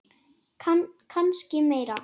Kannski meira.